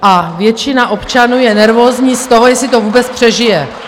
A většina občanů je nervózní z toho, jestli to vůbec přežije.